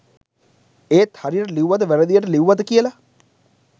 ඒත් හරියට ලිව්වද වැරදියට ලිව්වද කියලා